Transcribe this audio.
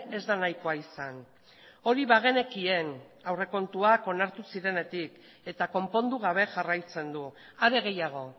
ez da nahikoa izan hori bagenekien aurrekontuak onartu zirenetik eta konpondu gabe jarraitzen du are gehiago